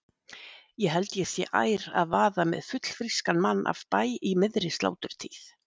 Ég held ég sé ær að vaða með fullfrískan mann af bæ í miðri sláturtíð.